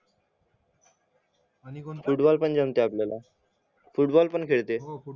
कोण फुटबॉल पण जमतंय आपल्याला फुटबॉल पण खेळतेय